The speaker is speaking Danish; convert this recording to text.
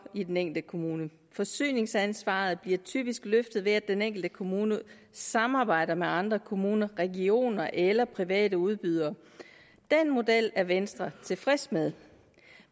i den enkelte kommune forsyningsansvaret bliver typisk løftet ved at den enkelte kommune samarbejder med andre kommuner regioner eller private udbydere den model er venstre tilfreds med